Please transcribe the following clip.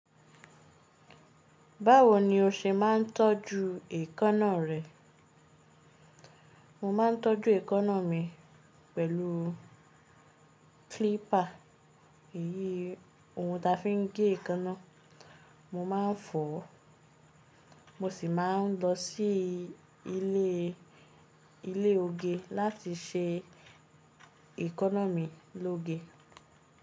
Báwo ni o ṣe máa ń tọ́jú èékánná rẹ? Mo máa ń tọ́jú èékánná mi pẹ̀lú clipper, èyí ni ohun ta fi ń gé èékánná. Mo máa ń fọ̀ ọ́, mo sì máa ń lọ sí ilé, ilé oge láti ṣe èékánná mi lóge.